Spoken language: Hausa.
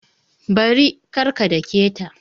Bari! kar ka dake ta